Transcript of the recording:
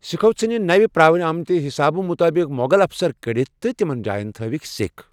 سِکھو ژھٕنۍ نوِ پرٛاوِمٕتہِ حِسابہٕ مۄغل افسر کڑتھ تہٕ تِمن جاین تھٲوِکھ سِکھ ۔